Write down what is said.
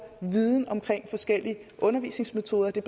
viden om forskellige undervisningsmetoder det